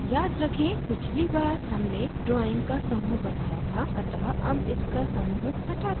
याद रखें पिछली बार हमने drawing का समूह बनाया था अतः अब इसका समूह हटाते हैं